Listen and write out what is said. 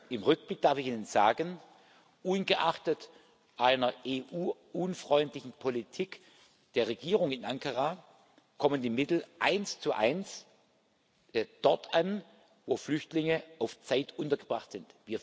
Im Rückblick darf ich Ihnen sagen Ungeachtet einer EU unfreundlichen Politik der Regierung in Ankara kommen die Mittel eins zu eins dort an, wo Flüchtlinge auf Zeit untergebracht sind.